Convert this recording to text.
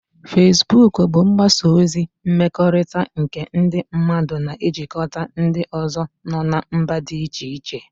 Fesbuk bụ mgbasa ozi mmekọrịta nke ndị mmadụ na-ejikọta ndị ọzọ nọ na mba dị iche iche